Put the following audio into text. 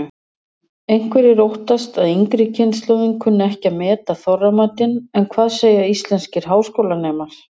Einhverjir óttast að yngri kynslóðin kunni ekki að meta Þorramatinn en hvað segja íslenskir háskólanemar?